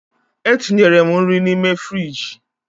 Etinyere m nri n'ime frịjị.